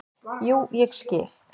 """Jú, ég skil."""